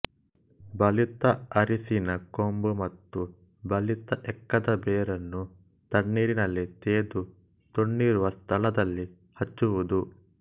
ಬಲಿತ ಅರಿಶಿನ ಕೊಂಬು ಮತ್ತು ಬಲಿತ ಎಕ್ಕದ ಬೇರನ್ನು ತಣ್ಣೀರಿನಲ್ಲಿ ತೇದು ತೊನ್ನಿರುವ ಸ್ಥಳದಲ್ಲಿ ಹಚ್ಚುವುದು